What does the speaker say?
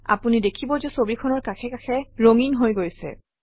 আপুনি দেখিব যে ছবিখনৰ কাষে কাষে ৰঙীন হৈ গৈছে